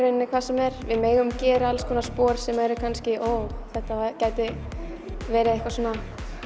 rauninni hvað sem er við megum gera alls konar spor sem eru kannski þetta gæti verið eitthvað svona